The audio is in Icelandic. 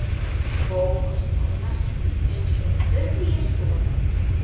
Bóas var næstum eins og þriðji sonur